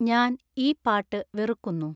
ഞാന്‍ ഈ പാട്ട് വെറുക്കുന്നു